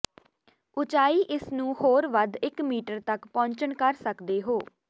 ਉਚਾਈ ਇਸ ਨੂੰ ਹੋਰ ਵੱਧ ਇੱਕ ਮੀਟਰ ਤੱਕ ਪਹੁੰਚਣ ਕਰ ਸਕਦੇ ਹੋ